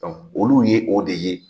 olu ye o de ye.